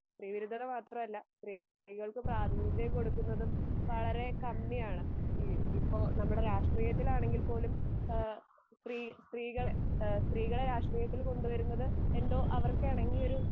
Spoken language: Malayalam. സ്ത്രീ വിരുദ്ധത മാത്രല്ല സ്ത്രീകൾക്ക് പ്രാദുമിക കൊടുക്കുന്നതും വളരെ കമ്മിയാണ് ഈ ഇപ്പൊ നമമുടെ രാക്ഷ്ട്രിയത്തിലാണെങ്കിൽ പോലും ഏഹ് സ്ത്രീ സ്ത്രീകളെ സ്ത്രീകളെ രാക്ഷ്ട്രിയത്തിൽ കൊണ്ട് വരുന്നത് എന്തോ അവർക്കെണങ്ങിയൊരു